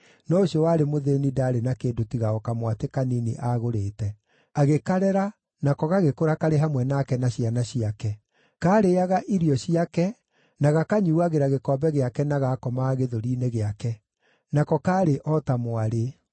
no ũcio warĩ mũthĩĩni ndaarĩ na kĩndũ tiga o kamwatĩ kanini aagũrĩte. Agĩkarera, nako gagĩkũra karĩ hamwe nake na ciana ciake. Kaarĩĩaga irio ciake, na gakanyuuagĩra gĩkombe gĩake na gaakomaga gĩthũri-inĩ gĩake. Nako kaarĩ o ta mwarĩ.